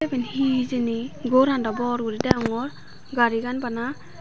iben he hijeni ghoran dw bor guri degongor gari gan bana.